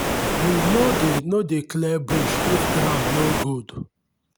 we no dey no dey clear bush if ground no good.